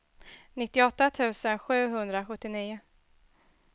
nittioåtta tusen sjuhundrasjuttionio